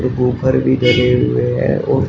woofer भी लगे हुए हैं और--